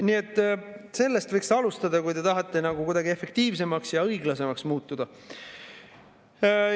Nii et sellest võiks alustada, kui te tahate kuidagi efektiivsemaks ja õiglasemaks muutuda.